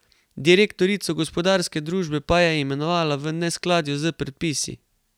Direktorico gospodarske družbe pa je imenovala v neskladju s predpisi.